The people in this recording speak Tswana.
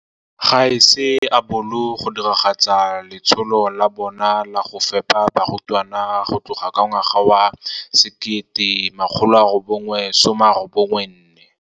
Ga se a bolo go diragatsa letsholo la bona la go fepa barutwana go tloga ka ngwaga wa 1994.